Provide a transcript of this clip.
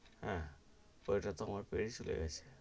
হেঁ, চলে গেছে,